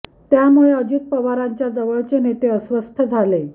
त्यामुळे अजित पवारांच्या जवळचे नेते अस्वस्थ झाले होते